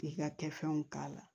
K'i ka kɛfɛnw k'a la